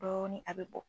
Dɔɔnin a bɛ bɔ